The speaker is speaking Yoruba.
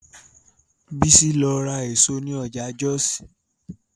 Bísí lọ ra èso ní ọjà Jọ́ọ̀sì